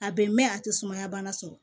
A bɛn mɛn a tɛ sumaya bana sɔrɔ